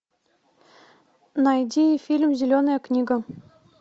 найди фильм зеленая книга